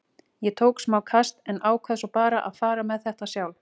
Ég tók smá kast en ákvað svo bara að fara með þetta sjálf.